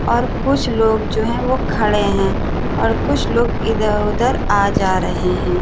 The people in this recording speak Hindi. और कुछ लोग जो हैं वह खड़े हैं और कुछ लोग इधर-उधर आ जा रहे हैं।